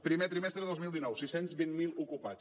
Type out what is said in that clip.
primer trimestre de dos mil dinou sis cents i vint miler ocupats